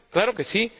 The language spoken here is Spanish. claro que sí.